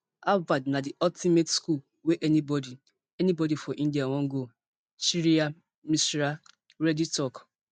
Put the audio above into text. harvard na di ultimate school wey anybody anybody for india wan go shreya mishra reddy tok